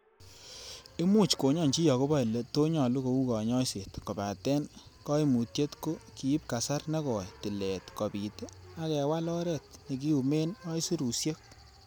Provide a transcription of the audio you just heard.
Imuch konyony chi agobo ele to nyolu kou konyoiset, kobaten koimutye ko kiib kasar nekoi tilet kobiit ak kewal oret nekiumen aisurusiek.